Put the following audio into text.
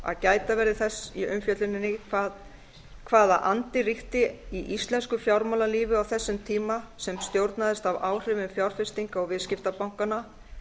að gæta verði þess í umfjölluninni hvaða andi ríkti í íslensku fjármálalífi á þessum tíma sem stjórnaðist af áhrifum fjárfestinga og viðskiptabankanna